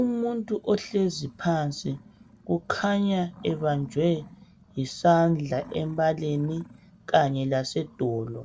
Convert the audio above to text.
Umuntu ohlezi phansi kukhanya ebanjwe yisandla embaleni kanye lase dolo